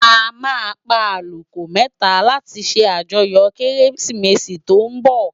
À má pá àkúkò mètá làti sé àjòyò Kérésimési lòsè tó n bò